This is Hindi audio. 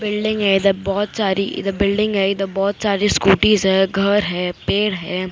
बिल्डिंग है इधर बहुत सारी इधर बिल्डिंग है इधर बहुत सारी स्कूटीज है घर है पेड़ है।